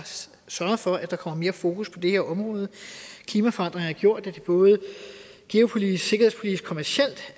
sørget for at der kommer mere fokus på det her område klimaforandringerne har gjort at det både geopolitisk sikkerhedspolitisk og kommercielt